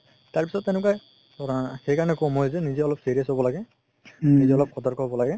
তাৰপিছত তেনেকুৱা ধৰা সেইকাৰণে কও মই নিজে অলপ serious হ'ব লাগে নিজে অলপ সতর্ক হ'ব লাগে